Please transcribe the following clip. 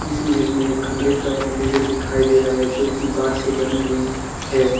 इस इमेज में एक कमरे का इंटीरियर दिखाई दे रहा है जोकि बांस से बनी हुई है।